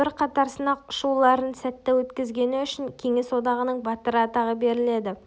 бірқатар сынақ ұшуларын сәтті өткізгені үшін кеңес одағының батыры атағы беріледі